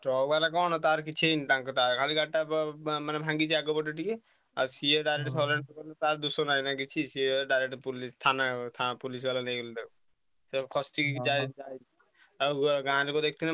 Truck ବାଲା କଣ ତାର କିଛି ହେଇନି ତାଙ୍କ ତାର ଖାଲି ଗାଡିଟା ମାନେ ଭାଙ୍ଗିଛି ଆଗ ପଟ ଟିକେ। ଆଉ ସିଏ direct surrender କରି ତାର ଦୋଷ ନାଇଁ ନା କିଛି ସିଏ direct police ଥାନା ଥା~ police ବାଲା ନେଇଗଲେ ତାକୁ ସେ ଖସିକି ବି ଯା ଆଉ ଗାଁ ଲୋକ ଦେଖିଥିଲେ